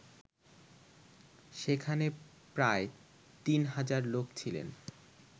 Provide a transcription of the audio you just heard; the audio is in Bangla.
সেখানে প্রায় ৩০০০ লোক ছিলেন